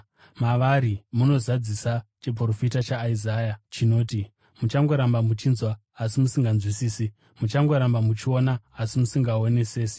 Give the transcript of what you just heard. Mavari munozadzisa chiprofita chaIsaya chinoti: “ ‘Muchangoramba muchinzwa asi musinganzwisisi; muchangoramba muchiona asi musingaonesesi.